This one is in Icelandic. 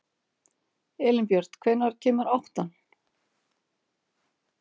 Elínbjört, hvenær kemur áttan?